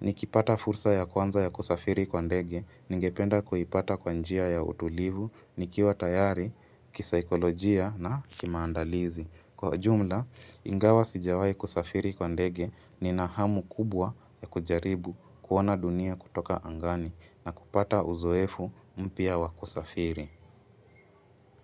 Nikipata fursa ya kwanza ya kusafiri kwa ndege, ningependa kuhipata kwa njia ya utulivu, nikiwa tayari, kisaikolojia na kimaandalizi. Kwa ujumla, ingawa sijawai kusafiri kwa ndege nina hamu kubwa ya kujaribu kuona dunia kutoka angani na kupata uzoefu mpya wa kusafiri.